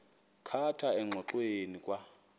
khatha engxoweni kwa